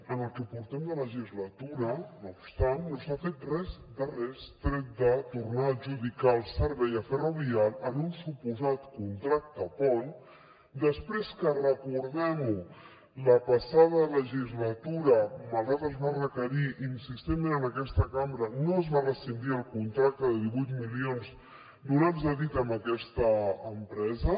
en el que portem de legislatura no obstant no s’ha fet res de res tret de tornar a adjudicar el servei a ferrovial en un suposat contracte pont després que recordem ho la passada legislatura malgrat que es va requerir insistentment en aquesta cambra no es va rescindir el contracte de divuit milions donats a dit a aquesta empresa